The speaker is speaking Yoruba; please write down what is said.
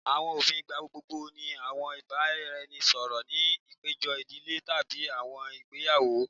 Awọn ofin igbagbogbo ni awọn ibaraẹnisọrọ ni apejọ idile tabi awọn igbeyawo